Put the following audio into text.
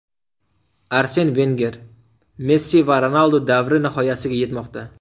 Arsen Venger: Messi va Ronaldu davri nihoyasiga yetmoqda !